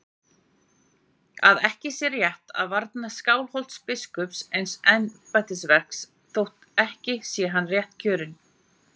Að ekki sé rétt að varna Skálholtsbiskupi eins embættisverks þótt ekki sé hann réttkjörinn.